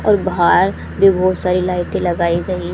और बाहर भी बहोत सारी लाइटे लगाई गई--